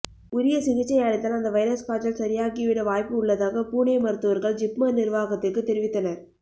உரிய சிகிச்சை அளித்தால் அந்த வைரஸ் காய்ச்சல் சரியாகி விட வாய்ப்பு உள்ளதாக புனே மருத்துவர்கள் ஜிப்மர் நிர்வாகத்திற்கு தெரிவித்தனர்